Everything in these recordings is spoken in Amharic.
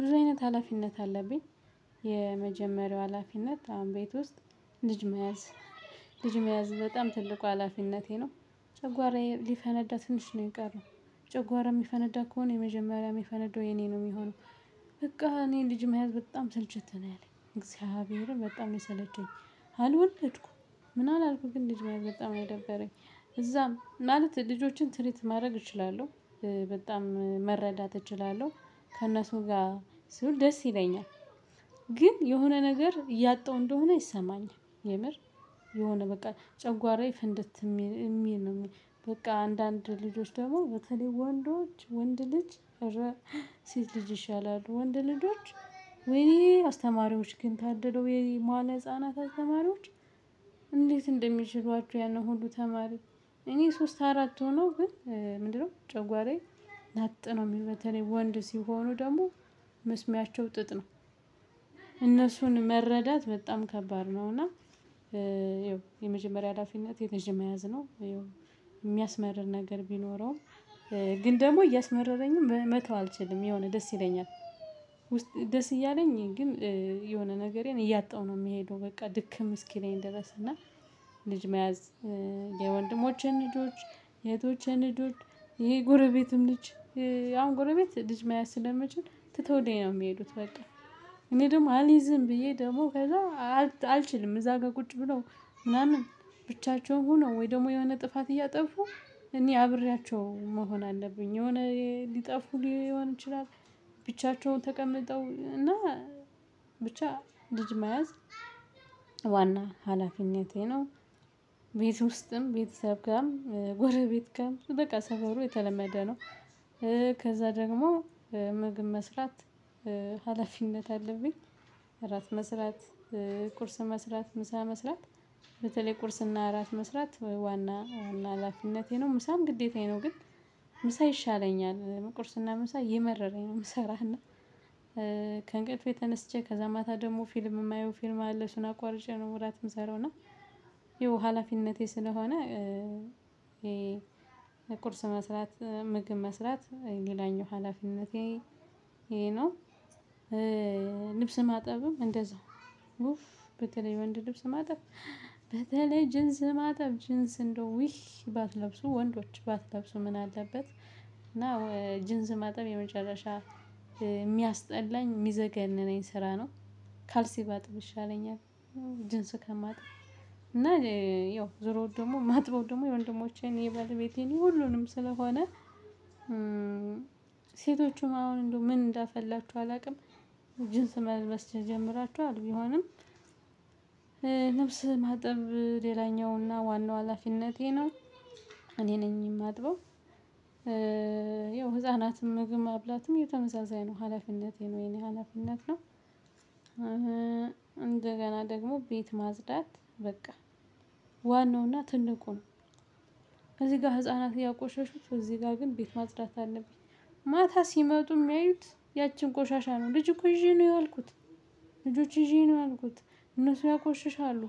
ብዙ አይነት ሀላፊነት አለብኝ። የመጀመሪያው ሀላፊነት አሁን ቤት ውስጥ ልጅ መያዝ: ልጅ መያዝ በጣም ትልቁ ሀላፊነቴ ነው። ጨጓራየ ሊፈነዳ ትንሽ ነው የቀረው። ጨጓራ የሚፈነዳው ከሆነ የመጀመሪያ የሚፈነደው የኔ ነው የሚሆነው በቃ እኔ ልጅ መያዝ በጣም ሰልችቶኛል። እግዚአብሔርን በጣም ነው የሰለቸኝ። አልወደድኩም ምናልባት አልኩኝ ግን ልጅ በጣም አልወደደደኝ እዛም ማለት ልጆችን ትሪት ማረግ እችላለሁ በጣም እ መረዳት እችላለሁ ከእነሱ ጋር ስውል ደስ ይለኛል። ግን የሆነ ነገር እያጣው እንደሆነ ይሰማኛል የምር የሆነ በቃ ጨጓራዬ ፍንድት የሚል ነው የሚል በቃ አንዳንድ ልጆች ደግሞ በተለይ ወንዶች ወንድ ልጅ እረ ሴት ልጅ ይሻላል ወንድ ልጆች ውይ አስተማሪዎች ግን ታድለውየማለ ህፃናት አስተማሪዎች እንዴት እንደሚችሏቸው ያንን ሁሉ ተማሪ እኔ ሶስት አራት ሆኖ ግን ምንድነው ጨጓራዬ በጣም እ መረዳት እችላለሁ ከእነሱ ጋር ስውል ደስ ይለኛል። እነሱን መረዳት በጣም ከባድ ነው እና ያው የመጀመሪያ ሀላፊት ልጅ መያዝ ነውደ የሚያስመርር ነገር ቢኖረውም ግን ደግሞ እያስመረረኝም መተው አልችልም የሆነ ደስ ይለኛል ደስ እያለኝ ግን የሆነ ነገሬን እያጣሁ ነው የምሄደው በቃ ድክም እስኪለኝ ድረስ እና ልጅ መያዝ የወንድሞቼን ልጆች የእህቶቼን ልጆች የ ጎረቤትም ልጅ አሁን ጎረቤት ልጅ መያዝ ስለመችል ትተውልኝ ነው የሚሄዱት በቃ እኔ ደሞ አልይዝም ብዬ ደሞ ከዛ አልችልም እዛ ጋ ቁጭ ብለው ምናምን ብቻቸውን ሆነው ወይ ደግሞ የሆነ ጥፋት እያጠፉ እኔ አብሬያቸው መሆን አለብኝ የሆነ ሊጠፉ ሊሆን ይችላል ብቻቸውን ተቀምጠው እና ብቻ ልጅ መያዝ ዋና ሀላፊነቴ ነው ቤት ውስጥም ቤተሰብ ጋም ጎረቤት ጋም በቃ ሰፈሩ የተለመደ ነው። ከዛ ደግሞ ምግብ መስራት ሀላፊነት አለብኝ እራት መስራት፣ ቁርስ መስራት፣ ምሳ መስራት በተለይ ቁርስና እራት መስራት ዋና አላፊነቴ ነው ምሳን ግዴታዬ ነው ግን ምሳ ይሻለኛል ቁርስና ምሳ እየመረረኝ ነው የምሰራው እና ከእንቅልፌ ተነስቼ ከዛ ማታ ደግሞ ፊልም የማየው ፊልም አለ እሱን አቋርጨ ነው እራት የምሰራው እና ይኸው ሀላፊነቴ ስለሆነ ቁርስ መስራት፣ ምግብ መስራት ሌላኛው ሀላፊነቴ ይሄ ነው ልብስ ማጠብም እንደዛው ውይ በተለይ የወንድ ልብስ ማጠብ በተለይ ጅንስ ማጠብ ጅንስ እንደው ውይ ባትለብሱ ወንዶች ባትለብሱ ምን አለበት እና ኧ ጅንስ ማጠብ የመጨረሻ የሚያስጠላኝ የሚያዘገንነኝ ስራ ነው ካልሲ ባጥብ ይሻለኛል። ጅንስ ከማጥብ እና ያው ዞሮ ደግሞ ማጥበው ደግሞ የወንድሞቼን የባለቤቴን ሁሉንም ስለሆነ ሴቶቹም አሁን እንደው ምን እንዳፈላችሁ አላውቅም ጅንስ መልበስ ጀምራችኋል ቢሆንም ልብስ ማጠብ ሌላኛውና ዋናው ሀላፊነቴ ነው። እኔ ነኝ የማጥበው ያው ህፃናትም ምግብም ማብላትም ተመሳሳይ ነው ሀላፊነቴ ነው የኔ ሀላፊነት ነው። እንደገና ደግሞ ቤት ማጽዳት በቃ ዋናውና ትልቁ እዚህ ጋር ህፃናት ያቆሻሹት እዚህ ጋር ግን ቤት ማጽዳት አለብኝ ማታ ሲመጡ የሚያዩት ያችን ቆሻሻ ነው ልጅ እኮ ይዤ ነው ያልኩት ልጆች ይዤ ነው ያልኩት እነሱ ያቆሽሻሉ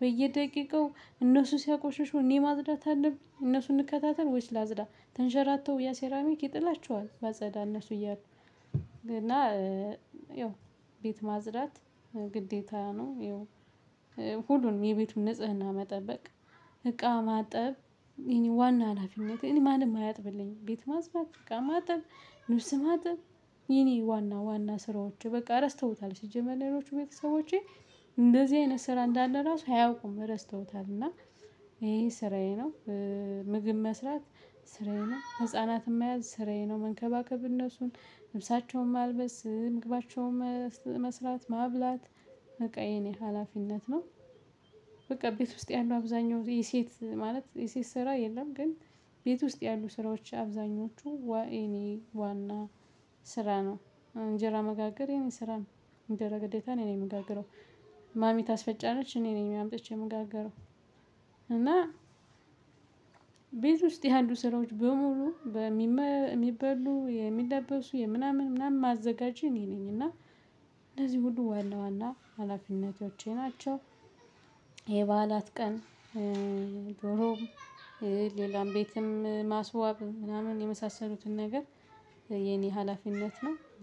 በየደቂቃው እነሱ ሲያቆሽሹ እኔ ማጽዳት አለብኝ? እነሱን ልከታተል ወይስ ላጽዳ? ተንሸራተው ያ ሴራሚክ ይጥላቸዋል ባጸዳ እነሱ እያሉ እና ያው ቤት ማጽዳት ግዴታ ነው ሁሉንም የቤቱን ንጽህና መጠበቅ እቃ ማጠብ ዋና ሀላፊነቴን ማንም አያጥብልኝም ቤት ማጽዳት እቃ ማጥብ ልብስ ማጠብ የኔ ዋና ዋና ስራዎቹ በቃ ረስተውታል ሲጀመር እኔዎቹ ቤተሰቦቼ እንደዚህ አይነት ስራ እንዳለ ራሱ አያውቁም ረስተውታል እና ይሄ ስራዬ ነው ምግብ መስራት ስራዬ ነው ህፃናትም መያዝ ስራዬ ነው መንከባከብ እነሱን ልብሳቸውን ማልበስ ምግባቸውን መስራት ማብላት በቃ የኔ ሀላፊነት ነው። በቃ ቤት ውስጥ ያለው አብዛኛው ጌዜ የሴት ማለት የሴት ስራ የለም ግን ቤት ውስጥ ያሉ ስራዎች አብዛኞቹ ዋ የኔ ዋና ስራ ነው እንጀራ መጋገር የኔ ስራ ነው እንጀራ ግደታ እኔ ነኝ የምጋግረው ማሚ ታስፈጫለች እኔ ነኝ የሚያምጥቼ የምጋግረው እና ቤት ውስጥ ያሉ ስራዎች በሙሉ በሚበሉ የሚለበሱ ምናምን ምናምን ማዘጋጅ እኔ ነኝ እና እንደዚህ ሁሉ ዋና ዋና ሀላፊነቶቼ ናቸው ይሄ የበዓላት ቀን ዶሮም ሌላም ቤትም ማስዋብ ምናምን የመሳሰሉትን ነገር የኔ ሀላፊነት ነው።